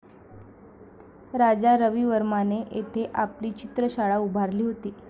राजा रविवर्माने येथे आपली चित्रशाळा उभारली होती